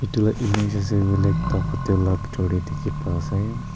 itu la image ase huile ekta hotel la bitor tey dikhi pai ase.